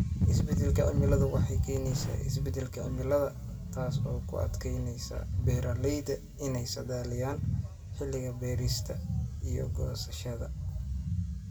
Isbeddelka cimiladu waxay keenaysaa isbeddelka cimilada, taas oo ku adkeynaysa beeralayda inay saadaaliyaan xilliga beerista iyo goosashada.